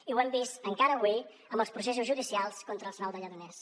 i ho hem vist encara avui amb els processos judicials contra els nou de lledoners